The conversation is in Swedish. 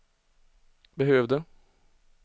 behövde